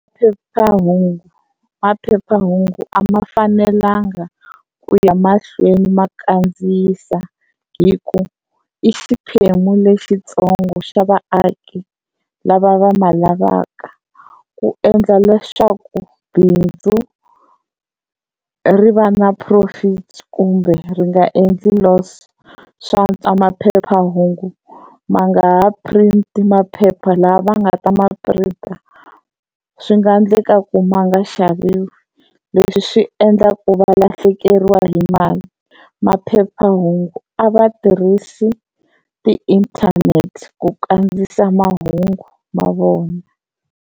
Phephahungu maphephahungu a ma fanelanga ku ya mahlweni ma kandziyisa hi ku i xiphemu lexitsongo xa vaaki lava va ma lavaka ku endla leswaku bindzu ri va na profit kumbe ri nga endli loss, swa antswa maphephahungu ma nga ha print maphepha, lava va nga ta ma printer swi nga ndleka ku ma nga xaviwi leswi swi endlaka ku va lahlekeriwa hi mali maphephahungu a va tirhisi ti-internet ku kandziyisa mahungu ma vona.